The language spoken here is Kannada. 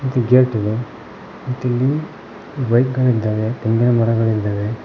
ಮತ್ತ್ ಗೇಟ್ ಇದೆ ಬೈಕ್ ಗಳಿದ್ದಾವೆ ತೆಂಗಿನ ಮರಗಳಿದ್ದಾವೆ.